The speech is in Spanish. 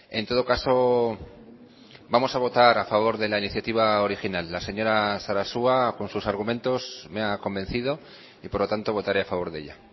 en todo caso vamos a votar a favor de la iniciativa original la señora sarasua con sus argumentos me ha convencido y por lo tanto votaré a favor de ella